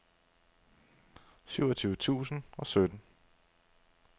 syvogtyve tusind og sytten